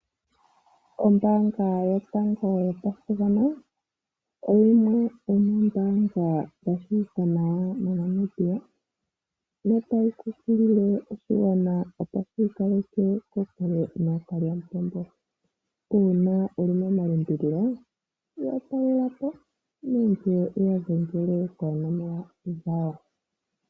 Ombaanga yotango yopashigwana oyimwe yomoombaanga dha tseyika nawa moNamibia notayi kunkilile oshigwana opo shiikaleke kokule nookalyamupombo. Uuna wuli mo malimbililo ya talela po nenge wuya dhengele koonomola dhawo.